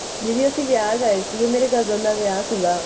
ਦੀਦੀ ਅਸੀਂ ਵਿਆਹ ਗਏ ਸੀ ਮੇਰੇ cousin ਦਾ ਵਿਆਹ ਸੀਗਾ